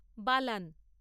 বালান